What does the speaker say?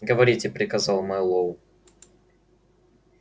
говорите приказал мэллоу